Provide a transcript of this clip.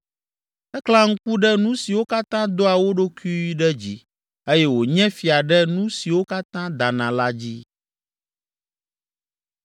Eklẽa ŋku ɖe nu siwo katã doa wo ɖokui ɖe dzi eye wònye fia ɖe nu siwo katã dana la dzi.”